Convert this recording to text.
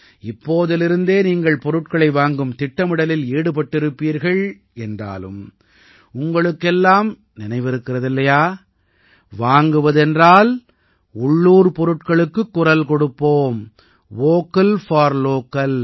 இப்போதிலிருந்தே நீங்கள் பொருட்களை வாங்கும் திட்டமிடலில் ஈடுபட்டிருப்பீர்கள் என்றாலும் உங்களுக்கு எல்லாம் நினைவிருக்கிறது இல்லையா வாங்குவது என்றால் உள்ளூர் பொருட்களுக்குக் குரல் கொடுப்போம் வோக்கல் போர் லோக்கல்